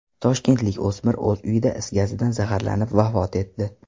Toshkentlik o‘smir o‘z uyida is gazidan zaharlanib vafot etdi.